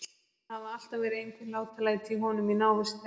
Það hafa alltaf verið einhver látalæti í honum í návist þeirra.